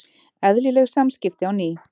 Eðlileg samskipti á ný